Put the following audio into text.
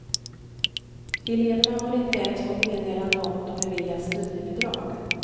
Eleverna har inte ens fått meddelande om de beviljats studiebidrag.